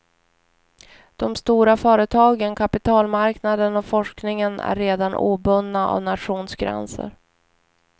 De stora företagen, kapitalmarknaden och forskningen är redan obundna av nationsgränser.